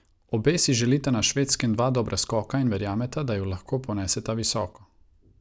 Obe si želita na Švedskem dva dobra skoka in verjameta, da ju lahko poneseta visoko.